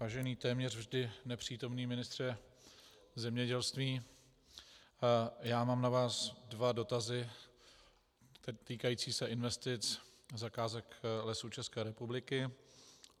Vážený téměř vždy nepřítomný ministře zemědělství, já mám na vás dva dotazy týkající se investic, zakázek Lesů České republiky.